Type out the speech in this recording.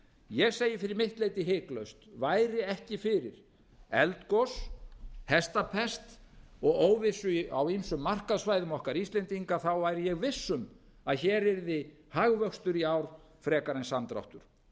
ég segi fyrir mitt leyti hiklaust væri ekki fyrir eldgos hestapest og óvissu á ýmsum markaðssvæðum okkar íslendinga væri ég viss um að hér yrði hagvöxtur í ár frekar en samdráttur